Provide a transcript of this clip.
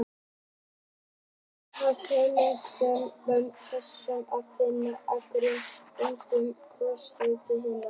Ein af hugmyndunum um sameiningu er sú að finna eina grúpu sem inniheldur krossfeldi hinna.